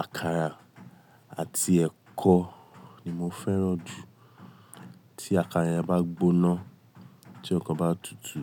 Àkàrà àti ẹ̀kọ ni mo fẹ́ràn jù. Tí àkàrà yẹn bá gbóná, tí ẹ̀kọ bá tutù,